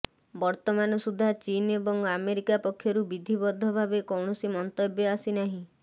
ବର୍ତମାନ ସୁଦ୍ଧା ଚୀନ ଏବଂ ଆମେରିକା ପକ୍ଷରୁ ବିଧିବଦ୍ଧ ଭାବେ କୌଣସି ମନ୍ତବ୍ୟ ଆସି ନାହିଁ